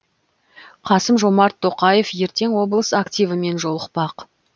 қасым жомарт тоқаев ертең облыс активімен жолықпақ